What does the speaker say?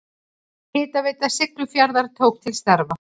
Hitaveita Siglufjarðar tók til starfa.